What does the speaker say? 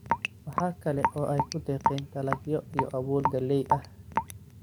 Waxa kale oo ay ku deeqeen dalagyo iyo abuur galley ah.